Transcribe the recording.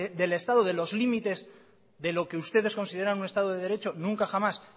del estado de los límites de lo que ustedes consideran un estado de derecho nunca jamás